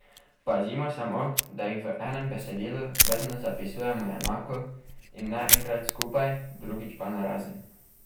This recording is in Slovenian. Pazimo samo, da jih v enem besedilu vedno zapisujemo enako in ne enkrat skupaj, drugič pa narazen.